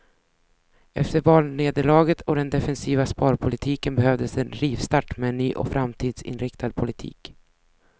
Efter valnederlaget och den defensiva sparpolitiken behövdes en rivstart med en ny och framtidsinriktad politik.